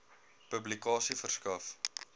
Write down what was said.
publikasie verskaf